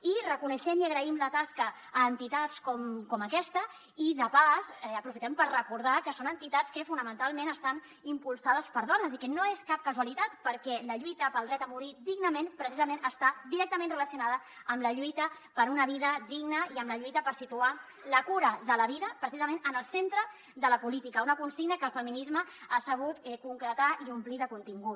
i reconeixem i agraïm la tasca a entitats com aquesta i de pas aprofitem per recordar que són entitats que fonamentalment estan impulsades per dones i que no és cap casualitat perquè la lluita pel dret a morir dignament precisament està directament relacionada amb la lluita per una vida digna i amb la lluita per situar la cura de la vida precisament en el centre de la política una consigna que el feminisme ha sabut concretar i omplir de contingut